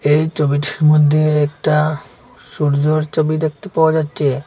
এই চবিটির মধ্যে একটা সূর্যর চবি দেখতে পাওয়া যাচ্ছে।